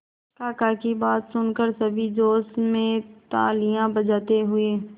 काका की बात सुनकर सभी जोश में तालियां बजाते हुए